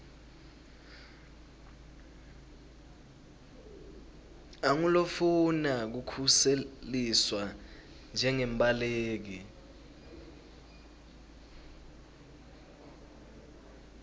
angulofuna kukhuseliswa njengembaleki